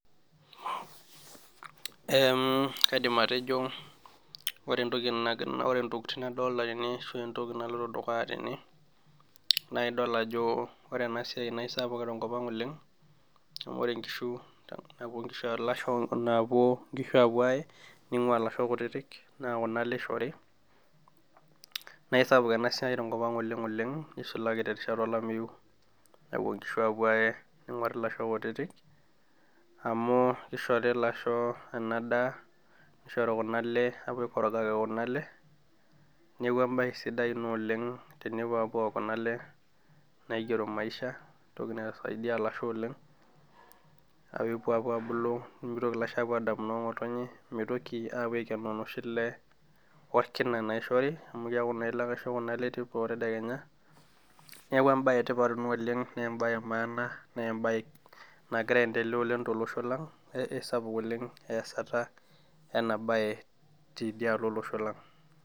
kaidim atejo ore entoki intokitin nadolita tene ashuu entoki naloito dukuya tene naa idol ajo ore ena siai naa isapuk tenkop ang oleng amu ore inkishu napuo ilasho napuo inkishu apuo aee neingua ilasho kutitik naa kuna alee eishori na isapuk ena siai tenkop ang oleng oleng neisulaki terishata olameyu nepuo inkishu apuo ayee neonguarri ilasho kutitik amu keishori ilasho ena daaa neishorri kuna ale apuo aikorogaki kuna alee neeku embai sidai ina oleng tenepuo apuo aok kuna ale naigerro maisha entoki naisaidia ilasho oleng neepuo apuo abulu nemeitoki apuo aadamu noo ngotonye meitoki apuo aikeno noshi ilee olkina naishori amuu ile ake aisho kuna ale teipa oo tedekenya neeku embae tipat ina oleng naa embae emaana naa embae nagira aendelea oleng tolosho lang aisapuk naleng easata ena bae tidialo olosho lang